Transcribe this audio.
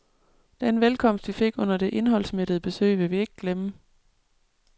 Den velkomst, vi fik under det indholdsmættede besøg, vil vi ikke glemme.